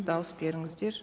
дауыс беріңіздер